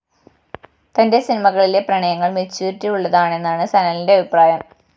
തന്റെ സിനിമകളിലെ പ്രണയങ്ങള്‍ മറ്റ്യൂറിറ്റി ഉള്ളതാണെന്നാണ്‌ സനലിന്റെ അഭിപ്രായം